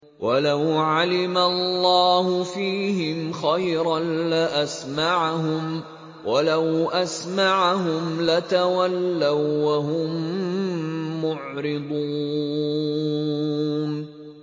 وَلَوْ عَلِمَ اللَّهُ فِيهِمْ خَيْرًا لَّأَسْمَعَهُمْ ۖ وَلَوْ أَسْمَعَهُمْ لَتَوَلَّوا وَّهُم مُّعْرِضُونَ